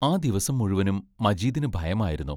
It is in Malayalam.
ആ ദിവസം മുഴുവനും മജീദിനു ഭയമായിരുന്നു.